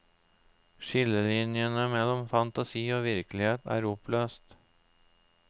Skillelinjene mellom fantasi og virkelighet er oppløst.